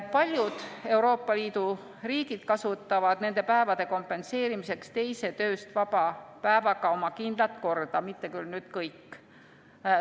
Paljud Euroopa Liidu riigid kasutavad nende päevade kompenseerimiseks teise tööst vaba päevaga oma kindlat korda, mitte küll nüüd kõik.